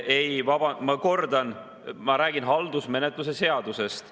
Ei, ma kordan, et ma räägin haldusmenetluse seadusest.